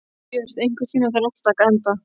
Björt, einhvern tímann þarf allt að taka enda.